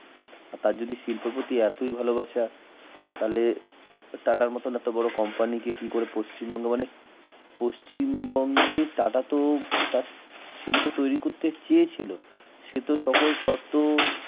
তা যদি শিল্পের প্রতি এতই ভালোবাসা তাহলে টাটার মতন এত বড় কোম্পানিকে কি করে পশ্চিমবঙ্গ পশ্চিমবঙ্গে টাটাস তো শিল্প তৈরি করতে চেয়েছিল সে তো সকল শর্ত